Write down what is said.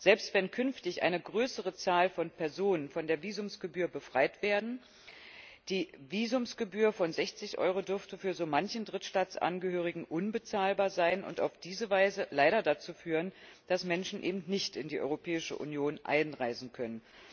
Selbst wenn künftig eine größere Zahl von Personen von der Visumgebühr befreit wird, dürfte die Visumgebühr von 60 Euro für so manchen Drittstaatsangehörigen unbezahlbar sein und auf diese Weise leider dazu führen, dass Menschen eben nicht in die Europäische Union einreisen können.